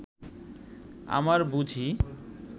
আমার বুঝি